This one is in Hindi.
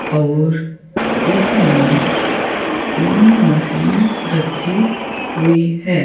और इसमें तीन मशीन रखी हुई है।